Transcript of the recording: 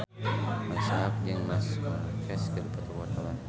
Marisa Haque jeung Marc Marquez keur dipoto ku wartawan